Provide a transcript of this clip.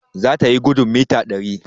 zatayi gudun mita dari